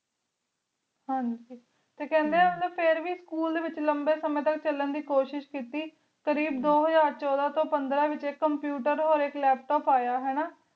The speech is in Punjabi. ਹਨ ਜੀ ਟੀ ਕਾਂਡੀ ਆ ਕੀ ਉਨਾ ਨੀ ਫਿਰ ਵੇ school ਡੀ ਵੇਚ ਲੰਬੀ ਆਰਸੀ ਤਕ ਚਲਣ ਦੇ ਕੋਸ਼ਿਸ਼ ਕੀਤੀ ਕਰੀਬ ਦੋ ਹਜ਼ਾਰ ਚੁਦਾਂ ਤੂੰ ਆਇਕ ਕੰਪਿਊਟਰ ਟੀ computer ਕ laptop ਯਾ ਹਾਨਾ